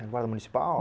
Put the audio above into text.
Era o guarda municipal?